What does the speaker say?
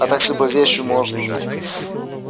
а так с любой вещью можно